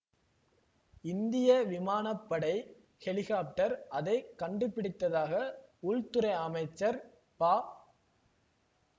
இந்திய விமான படை ஹெலிகாப்டர் அதை கண்டுபிடித்ததாக உள்துறை அமைச்சர் ப